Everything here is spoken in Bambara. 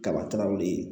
Kaba tinaw ye